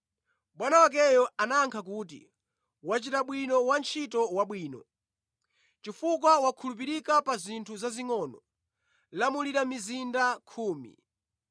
“Bwana wakeyo anayankha kuti, Wachita bwino wantchito wabwino. ‘Chifukwa wakhulupirika pa zinthu zazingʼono, lamulira mizinda khumi.’